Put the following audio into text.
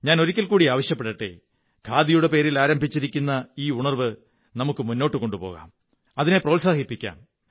ഞാൻ ഒരിക്കൽ കൂടി ആവശ്യപ്പെടട്ടേ ഖാദിയുടെ പേരിൽ ആരംഭിച്ചിരിക്കുന്ന ഈ ഉണര്വ്വ് നമുക്കു മുന്നോട്ടു കൊണ്ടുപോകാം അതിനെ പ്രോത്സാഹിപ്പിക്കാം